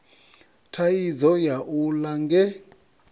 thaidzo ya u ḽa nge